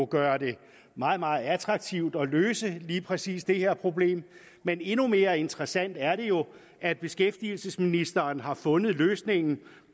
gøre det meget meget attraktivt at løse lige præcis det her problem men endnu mere interessant er det jo at beskæftigelsesministeren har fundet løsningen